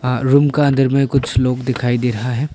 आ room का अंदर में कुछ लोग दिखाई दे रहा है।